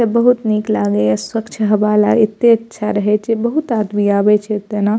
एता बहुत निक लागय ये स्वच्छ हवा ले एते अच्छा रहे छै बहुत आदमी आवे छै एतेना।